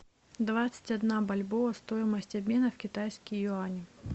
двадцать одна бальбоа стоимость обмена в китайские юани